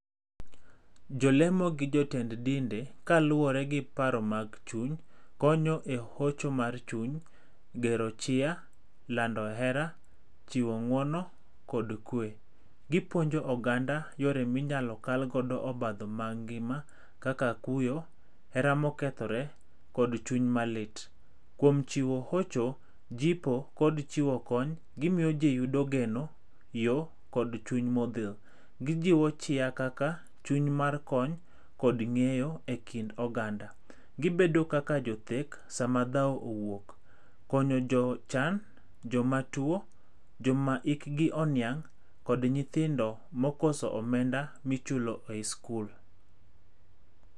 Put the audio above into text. Jolemo gi jotend dinde, kaluwore gi paro mag chuny, konyo e hocho mar chuny, gero chia, lando hera, chiwo ng'uono kod kwe. Gipuonjo oganda yore minyalo kalgodo obadho mag ngima kaka kuyo, hera mokethore kod chuny malit. Kuom chiwo hocho, jipo kod chiwo kony, gimiyo ji yudo geno, yo, kod chuny modhil. Gijiwo chia kaka, chuny mar kony kod ng'eyo e kind oganda. Gibedo kaka jothek sama dhao owuok. Konyo jochan, jomatuo, joma hikgi oniang' kod nyithindo mokoso omenda michulo e i skul.